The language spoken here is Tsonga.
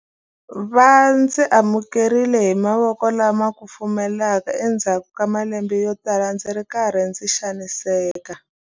Va ndzi amukerile hi mavoko lama kufumelaka endzhaku ka malembe yotala ndzi ri karhi ndzi xaniseka.